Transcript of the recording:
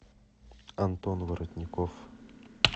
антон воротников